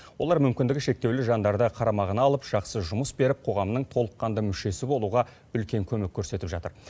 олар мүмкіндігі шектеулі жандарды қарамағына алып жақсы жұмыс беріп қоғамның толыққанды мүшесі болуға үлкен көмек көрсетіп жатыр